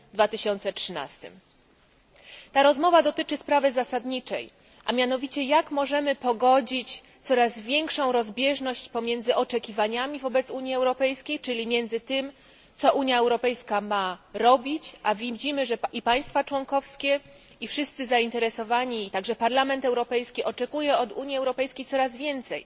2013. Ta rozmowa dotyczy sprawy zasadniczej, a mianowicie jak możemy pogodzić coraz większą rozbieżność pomiędzy oczekiwaniami Unii Europejskiej, czyli między tym, co Unia Europejska ma robić a widzimy, że i państwa członkowskie, i wszyscy zainteresowani, także Parlament Europejski, oczekują od Unii Europejskiej coraz więcej,